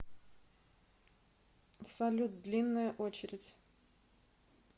салют длинная очередь